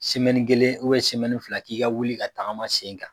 kelen fila k'i ka wuli ka tagama sen kan.